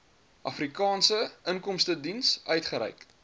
afrikaanse inkomstediens uitgereik